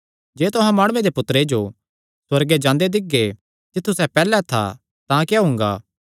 जे तुहां माणुये दे पुत्तरे जो सुअर्गे जांदे दिक्खगे जित्थु सैह़ पैहल्ले था तां क्या हुंगा